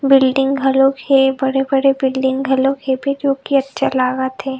Building घलुक हे बड़े-बड़े बिल्डिंग घलुक हे जो कि अच्छा लागत हे।